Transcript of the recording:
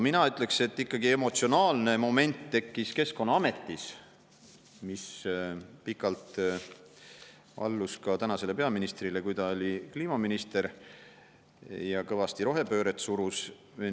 Mina ütleksin, et emotsionaalne moment tekkis ikkagi Keskkonnaametis, mis pikalt allus ka tänasele peaministrile, kui ta oli kliimaminister ja kõvasti rohepööret surus.